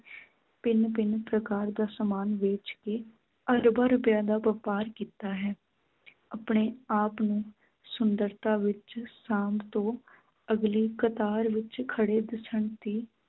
ਭਿੰਨ ਭਿੰਨ ਪ੍ਰਕਾਰ ਦਾ ਸਾਮਾਨ ਵੇਚ ਕੇ ਅਰਬਾਂ ਰੁਪਇਆਂ ਦਾ ਵਪਾਰ ਕੀਤਾ ਹੈ ਆਪਣੇ ਆਪ ਨੂੰ ਸੁੰਦਰਤਾ ਵਿੱਚ ਸਾਂਭ ਤੋਂ ਅਗਲੀ ਕਤਾਰ ਵਿੱਚ ਖੜ੍ਹੇ ਦਿੱਸਣ ਦੀ